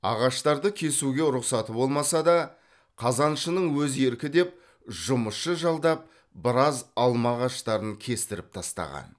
ағаштарды кесуге рұқсаты болмаса да қазаншының өзі еркі деп жұмысшы жалдап біраз алма ағаштарын кестіріп тастаған